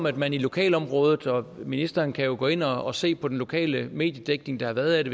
at man i lokalområdet ministeren kan jo gå ind og se på den lokale mediedækning der har været af det